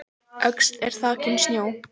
Öxl er þakin snjó